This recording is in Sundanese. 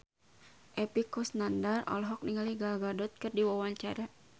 Epy Kusnandar olohok ningali Gal Gadot keur diwawancara